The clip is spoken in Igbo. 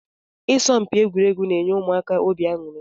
Isọmpi egwuregwu na-enye ụmụ akwụkwọ óbị aṅụri